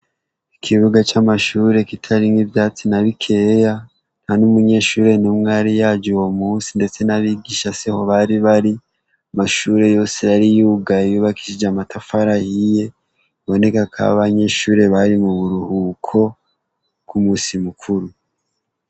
Ikibuga c'amashuri kitari nk'ivyatsi na bikeya nta n'umunyeshuri n'umwari yaje uwo munsi ndetse n'abigisha siho bari bari mashuri yose yari yugay yubakisije amatafara yiye boneka ko abanyeshuri bari mu buruhuko bw'umusi mukuru.